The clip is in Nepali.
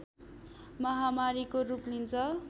महामारीको रूप लिन्छ